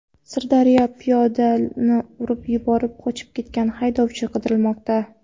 Sirdaryoda piyodani urib yuborib, qochib ketgan haydovchi qidirilmoqda.